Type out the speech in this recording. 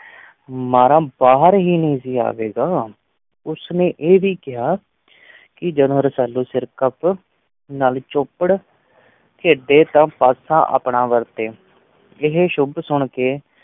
ਮਾਰਾ ਬਾਹਰ ਹੀ ਨਹੀਂ ਆਵੇਗਾ, ਉਸ ਨੇ ਇਹ ਵੀ ਕਿਹਾ ਕਿ ਜਦੋਂ ਰਸਾਲੂ ਸਿਰਕੱਪ ਨਾਲ ਚੌਪੜ ਖੇਡੇ ਤਾਂ ਪਾਸਾ ਆਪਣਾ ਵਰਤੇ, ਇਹ ਸਭ ਸੁਣ ਕੇ